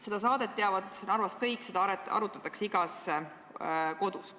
Seda saadet teavad Narvas kõik, seda arutatakse igas kodus.